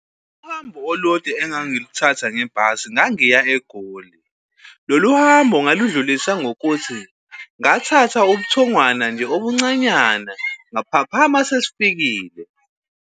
Uhambo olude engangiluthatha ngebhasi ngangiya eGoli. Lolu hambo ngaludlulisa ngokuthi ngathatha ubuthongwana nje obuncanyana ngaphaphama sesifikile.